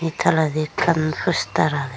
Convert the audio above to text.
ei toledi ekkan poster agey.